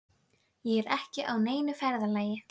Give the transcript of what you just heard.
Á meðal babúítanna voru allra þjóða kvikindi, Írar, Kanadamenn